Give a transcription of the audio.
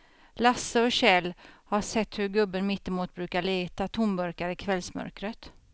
Lasse och Kjell har sett hur gubben mittemot brukar leta tomburkar i kvällsmörkret.